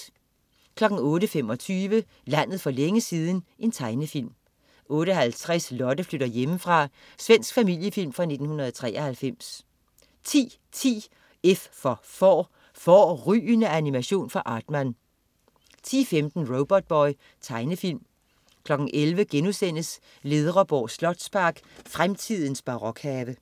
08.25 Landet for længe siden. Tegnefilm 08.50 Lotte flytter hjemmefra. Svensk familiefilm fra 1993 10.10 F for Får. Fårrygende animation fra Aardman 10.15 Robotboy. Tegnefilm 11.00 Ledreborg slotspark, fremtidens barokhave*